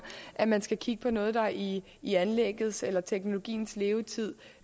at man skal kigge på noget der i i anlæggets eller teknologiens levetid